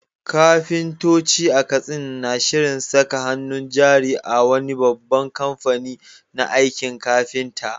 Kafintoci a Katsina na shirin saka hannun jari a wani babban kamfani na aikin kafinta.